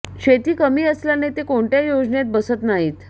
शेती कमी असल्याने ते कोणत्या योजनेत बसत नाहीत